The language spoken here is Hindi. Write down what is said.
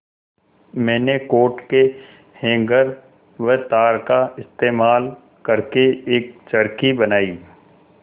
मैंने कोट के हैंगर व तार का इस्तेमाल करके एक चरखी बनाई